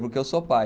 Porque eu sou pai.